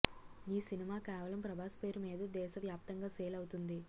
ఈ సినిమా కేవలం ప్రభాస్ పేరు మీదే దేశవ్యాప్తంగా సేల్ అవుతోంది